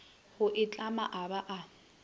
go itlhama a ba a